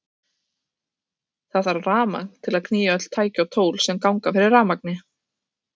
Það þarf rafmagn til að knýja öll tæki og tól sem ganga fyrir rafmagni.